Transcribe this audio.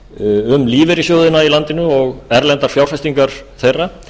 um lífeyrissjóðina í landinu og erlendar fjárfestingar þeirra